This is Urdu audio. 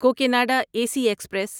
Cocanada A C express